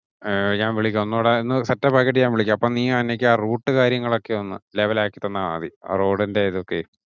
ആ ഞാൻ വിളിക്കാം ഒന്നുടെ set up ആക്കിയിട്ടു ഞാൻ വിളിക്കാം. അപ്പം നീ ആ route കാര്യങ്ങൾ ഒക്കെ ഒന്ന് level ആക്കി തന്നാ മതി. road ഇന്റെ ഇതൊക്കെ.